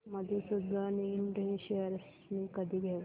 मधुसूदन इंड शेअर्स मी कधी घेऊ